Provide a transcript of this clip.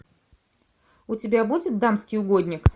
у тебя будет дамский угодник